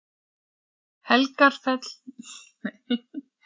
Helgafell er til hægri.